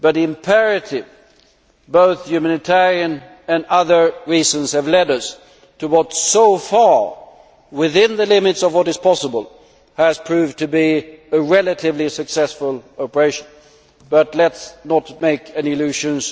Imperative humanitarian and other reasons have led us to what has, within the limits of what is possible, so far proved to be a relatively successful operation, but let us not have any illusions.